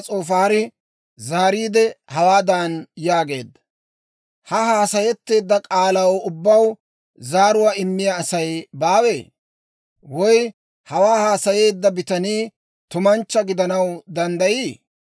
«Ha haasayetteedda k'aalaw ubbaw zaaruwaa immiyaa Asay baawee? Woy hawaa haasayeedda bitanii tumanchcha gidanaw danddayii?